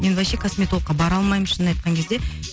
мен вообще косметологка бара алмаймын шынын айтқан кезде